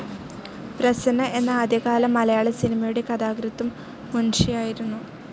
പ്രസന്ന എന്ന ആദ്യകാല മലയാള സിനിമയുടെ കഥാകൃത്തും മുൻഷിയായിരുന്നു.